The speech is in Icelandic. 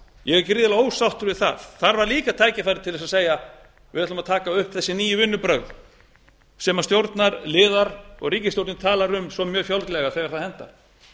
ég er gríðarlega ósáttur við það þar var líka tækifæri til þess að segja við ætlum að taka upp þessi nýju vinnubrögð sem stjórnarliðar og ríkisstjórnin tala um svo mjög fjálglega þegar það hentar